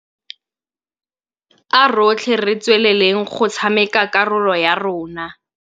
A rotlhe re tsweleleng go tshameka karolo ya rona.